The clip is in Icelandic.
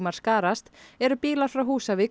skarast eru bílar frá Húsavík